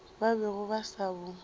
ba bego ba sa bo